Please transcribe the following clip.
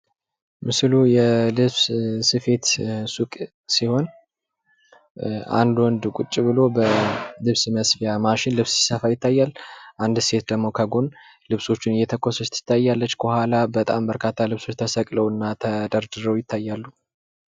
ምስሉ የልብስ ስፌት ሱቅ ሲሆን አንድ ወንድ ቁጭ ብሎ በልብስ መስፊያ ማሽን ልብስ ሲሰፋ ይታያል። አንድት ሴት ደግሞ ጎን ልብሶቹን እየተኮሰች ትታያለች። ከኋላ በጣም በርካታ ልብሶች ተሰቅለውና ተደርድረው ይታያሉ።